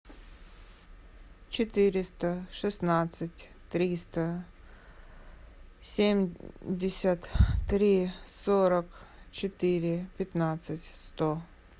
четыреста шестнадцать триста семьдесят три сорок четыре пятнадцать сто